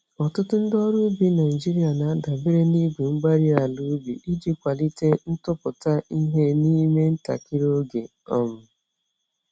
Ọtụtụ ndị ọrụ ubi Nigeria na-adabere na igwe-mgbárí-ala ubi iji kwalite ntụpụta ihe n'ime ntakịrị oge. um